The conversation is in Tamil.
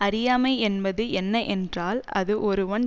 அறியாமை என்பது என்ன என்றால் அது ஒருவன்